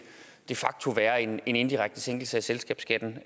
de facto være en indirekte sænkelse af selskabsskatten